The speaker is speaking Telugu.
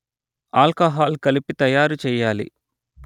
ఆల్కహాల్ కలిపి తయారుచెయ్యాలి